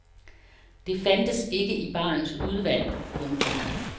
Det fandtes ikke i barens udvalg. punktum